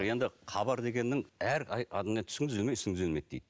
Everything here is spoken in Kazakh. енді хабар дегеннің әр түсің түзелмей ісің түзелмейді дейді